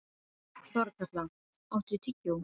Þorkatla, áttu tyggjó?